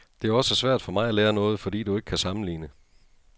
Det er også svært for mig at lære noget, fordi du ikke kan sammenligne.